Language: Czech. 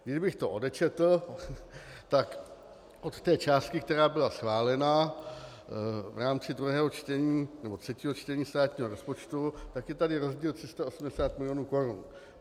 Kdybych to odčetl, tak od té částky, která byla schválena v rámci druhého čtení nebo třetího čtení státního rozpočtu, tak je tady rozdíl 380 milionů korun.